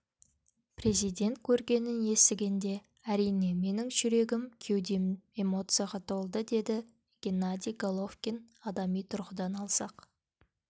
президент көргенін естігенде әрине менің жүрегім кеудем эмоцияға толды деді геннадий головкин адами тұрғыдан алсақ